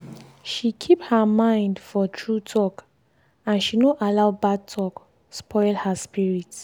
she keep her mind for true talk and she no allow bad talk spoil her spirit.